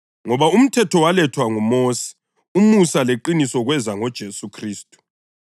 Ngoba umthetho walethwa ngoMosi; umusa leqiniso kweza ngoJesu Khristu.